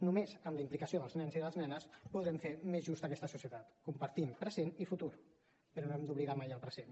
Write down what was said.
només amb la implicació dels nens i les nenes podrem fer més justa aquesta societat compartint present i futur però no hem d’oblidar mai el present